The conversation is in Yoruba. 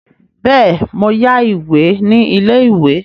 Bẹ́ẹ̀ mo yá ìwé ní ilé-ìwé.